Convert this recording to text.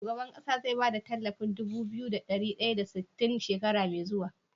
Shugaban ƙasa ze ba da talafin Dubu biyu da dari daya da sitin da shekara me zuwa?